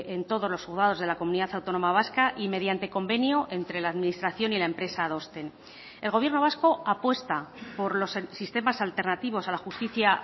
en todos los juzgados de la comunidad autónoma vasca y mediante convenio entre la administración y la empresa adosten el gobierno vasco apuesta por los sistemas alternativos a la justicia